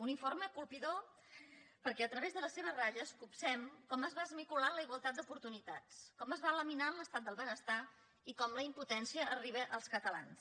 un informe colpidor perquè a través de les seves ratlles copsem com es va esmicolant la igualtat d’oportunitats com es va laminant l’estat del benestar i com la impotència arriba als catalans